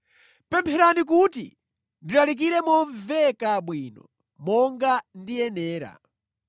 Pempherani kuti ndilalikire momveka bwino, monga ndikuyenera.